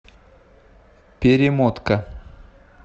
перемотка